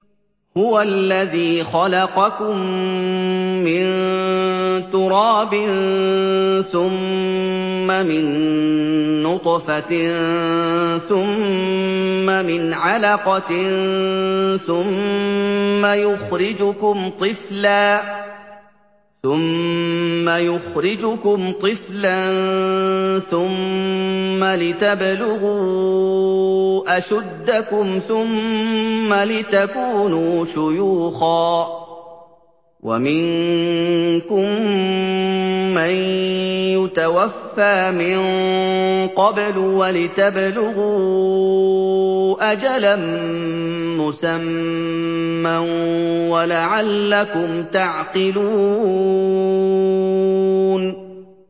هُوَ الَّذِي خَلَقَكُم مِّن تُرَابٍ ثُمَّ مِن نُّطْفَةٍ ثُمَّ مِنْ عَلَقَةٍ ثُمَّ يُخْرِجُكُمْ طِفْلًا ثُمَّ لِتَبْلُغُوا أَشُدَّكُمْ ثُمَّ لِتَكُونُوا شُيُوخًا ۚ وَمِنكُم مَّن يُتَوَفَّىٰ مِن قَبْلُ ۖ وَلِتَبْلُغُوا أَجَلًا مُّسَمًّى وَلَعَلَّكُمْ تَعْقِلُونَ